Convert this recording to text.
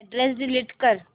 address delete कर